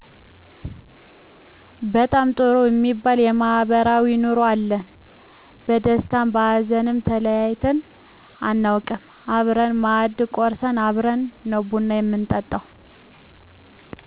በጣም ጥሩ እሚባል ማህበራዊ ኑሮ አለን በደስታም በሀዘንም ተለያይተን አናውቅም አብረን ማእድ ቆርስን አብረን ነው ቡና ምንጠጣው